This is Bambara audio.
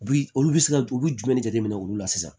U bi olu bi se ka u bi jumɛn de jateminɛ olu la sisan